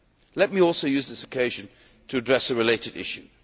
Let me also use this occasion to address a related issue.